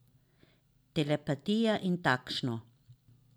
Telepatija in takšno.